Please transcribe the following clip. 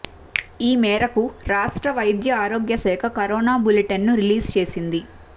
ఈ మేరకు రాష్ట్ర వైద్య ఆరోగ్య శాఖ కరోనా బులెటిన్ ను రిలీజ్ చేసింది